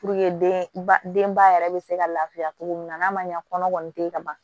den ba denba yɛrɛ bɛ se ka lafiya cogo min na n'a ma ɲɛ kɔnɔ kɔni tɛ yen ka ban